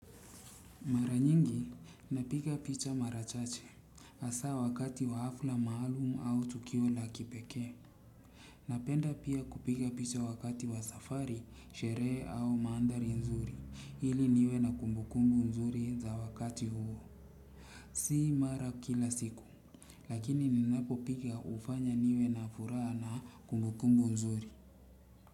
Napiga picha mara chache hasaa wakati wa hafla maalum au tukio la kipekee. Napenda pia kupika picha wakati wa safari, sherehe au maanthari nzuri ili niwe na kumbukumbu nzuri za wakati huo. Si mara kila siku lakini ninapopika hufanya niwe na furaha na kumbukumbu nzuri.